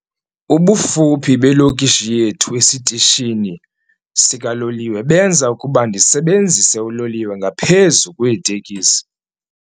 Ubufuphi belokishi yethu esitishini sikaloliwe benza ukuba ndisebenzise uloliwe ngaphezu kweeteksi.